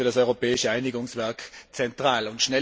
Das ist für das Europäische Einigungswerk zentral!